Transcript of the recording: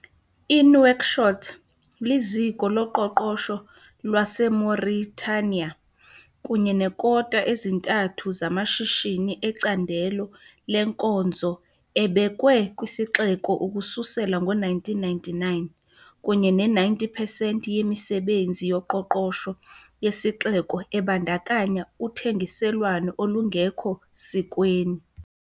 I-Nouakchott liziko loqoqosho lwaseMauritania, kunye neekota ezintathu zamashishini ecandelo lenkonzo abekwe kwisixeko ukususela ngo-1999 kunye ne-90 percent yemisebenzi yoqoqosho yesixeko ebandakanya uthengiselwano olungekho sikweni.